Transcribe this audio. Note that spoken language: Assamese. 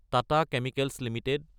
Tata chemicals Ltd